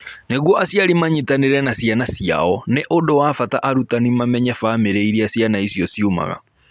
Nĩguo aciari manyitanĩre na ciana ciao, nĩ ũndũ wa bata arutani mamenye famĩlĩ iria ciana icio ciumaga.